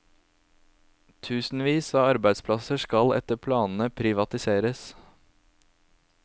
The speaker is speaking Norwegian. Tusenvis av arbeidsplasser skal etter planene privatiseres.